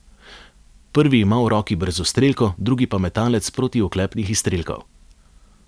Prvi ima v roki brzostrelko, drugi pa metalec protioklepnih izstrelkov.